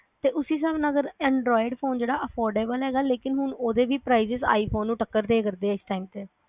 ਤੇ ਉਸੇ ਸਾਬ ਨਾਲ ਫਿਰ anroid phone ਜਿਹੜਾ ਹੇਗਾ ਉਹ affordable ਹੇਗਾ ਲੇਕਿਨ ਹੁਣ ਉਹਦੇ ਵੀ prices i phone ਨੂੰ ਟੱਕਰ ਦਏ ਕਰ ਦੇ ਇਸ time ਤੇ